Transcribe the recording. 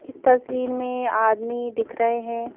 इस तस्वीर में आदमी दिख रहे हैं।